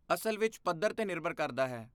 ਅਸਲ ਵਿੱਚ ਪੱਧਰ 'ਤੇ ਨਿਰਭਰ ਕਰਦਾ ਹੈ।